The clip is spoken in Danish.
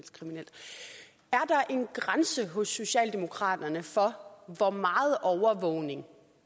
grænse hos socialdemokraterne for hvor meget overvågning